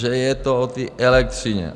Že je to o té elektřině.